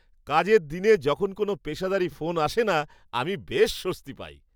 কাজের দিনে যখন কোনও পেশাদারি ফোন আসে না, আমি বেশ স্বস্তি পাই।